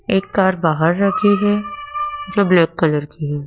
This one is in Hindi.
एक कार बाहर रखी है जो ब्लैक कलर की है।